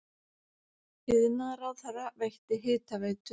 Iðnaðarráðherra veitti Hitaveitu